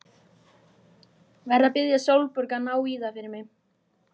Verð að biðja Sólborgu að ná í það fyrir mig.